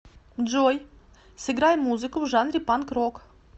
джой сыграй музыку в жанре панк рок